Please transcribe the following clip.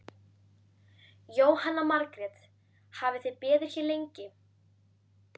Jóhanna Margrét: Hafið þið beðið hér lengi?